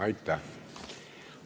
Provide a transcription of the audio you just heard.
Aitäh!